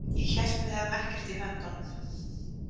Ég hélt að við hefðum ekkert í höndum.